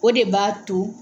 O de b'a to